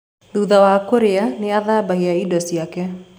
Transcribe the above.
Thutha wa kũrĩa, nĩ athambaga indo ciake.